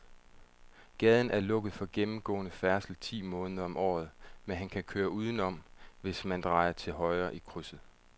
Gaden er lukket for gennemgående færdsel ti måneder om året, men man kan køre udenom, hvis man drejer til højre i krydset.